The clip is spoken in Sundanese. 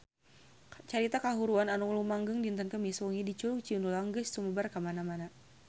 Carita kahuruan anu lumangsung dinten Kemis wengi di Curug Cinulang geus sumebar kamana-mana